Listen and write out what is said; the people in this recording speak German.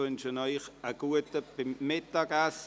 Ich wünsche Ihnen einen guten Appetit.